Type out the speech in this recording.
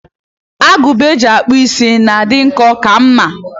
Agụba eji akpụ is na-adị nkọ ka mma.